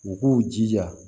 U k'u jija